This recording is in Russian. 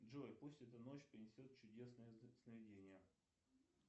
джой пусть эта ночь принесет чудесные сновидения